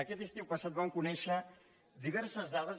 aquest estiu passat vam conèixer diverses dades